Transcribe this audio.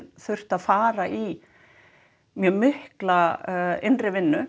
þurft að fara í mikla innri vinnu